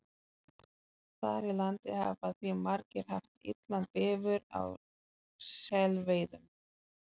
Þar í landi hafa því margir haft illan bifur á selveiðum.